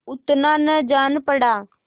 उतना न जान पड़ा